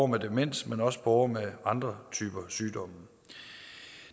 med demens men også borgere med andre typer sygdomme